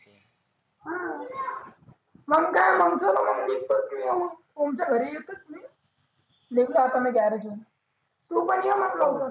हा ओमच्या घरी येतोच मी निघलो आता गॅरेज हुन. तु पण ये मग लवकर.